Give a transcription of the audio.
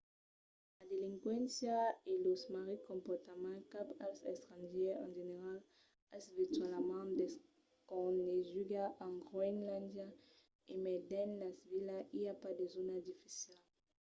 la delinquéncia e los marrits comportaments cap als estrangièrs en general es virtualament desconeguda en groenlàndia. e mai dins las vilas i a pas de zòna dificila.